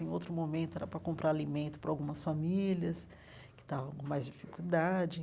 Em outro momento, era para comprar alimento para algumas famílias que estavam com mais dificuldade.